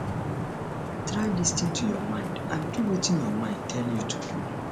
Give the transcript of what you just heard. try lis ten to your mind and do wetin your mind tell you to do